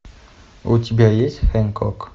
у тебя есть хэнкок